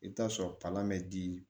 I bɛ taa sɔrɔ kalan bɛ di